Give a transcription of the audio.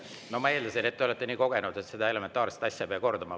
No ma eeldasin, et te olete nii kogenud, et seda elementaarset asja ei pea kordama.